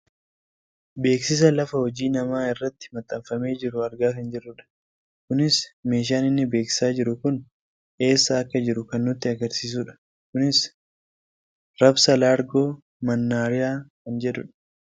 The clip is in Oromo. Beeksisa lafa hojii namaa irratti maxxanfamee jiru argaa kan jirudha. kunis meeshaan inni beeksisaa jiru kun eessa akka jiru kan nutti agarsiisudha. kunis " rabsa laargoo mannaariyaa " kan jedhudha.